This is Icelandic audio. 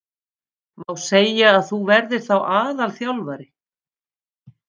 Má segja að þú verðir þá aðalþjálfari?